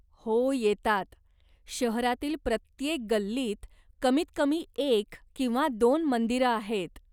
हो येतात. शहरातील प्रत्येक गल्लीत कमीतकमी एक किंवा दोन मंदिरं आहेत.